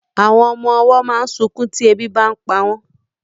Àwọn ọmọ ọwọ́ máa ń sunkún tí ebi bàa ń pa wọn